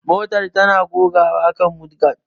Motar tana gogawa kan mudguard